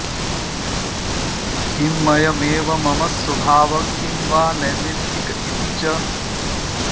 किमयमेव मम स्वभावः किं वा नैमित्तिक इति च